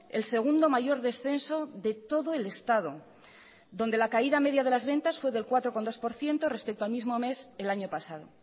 el segundo mayor descenso de todo el estado donde la caída media de las ventas fue del cuatro coma dos por ciento respecto al mismo mes el año pasado